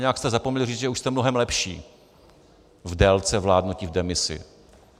Nějak jste zapomněli říct, že už jste mnohem lepší v délce vládnutí v demisi.